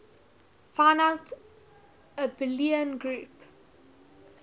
finite abelian group